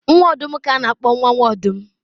nwa ọdụm ka a na-akpọ nwa